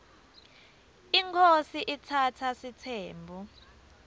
inkhosi iatsatsa sitsembu